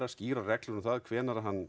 skýrar reglur um það hvenær hann